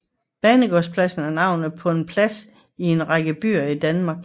Banegårdspladsen er navnet på en plads i en række byer i Danmark